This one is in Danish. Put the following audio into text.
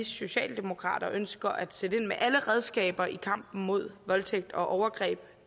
socialdemokrater ønsker at sætte ind med alle redskaber i kampen mod voldtægt og overgreb